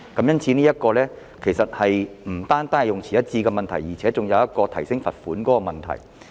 因此，這不止是用詞一致的問題，還涉及提高罰款的問題。